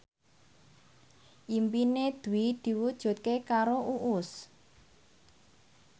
impine Dwi diwujudke karo Uus